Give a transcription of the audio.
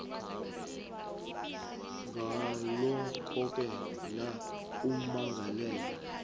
ngalokhoke la ummangalelwa